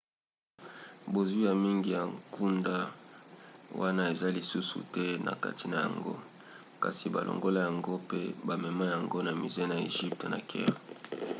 bozwi ya mingi ya nkuda wana eza lisusu te na kati na yango kasi balongola yango pe bamema yango na musée ya egypte na caire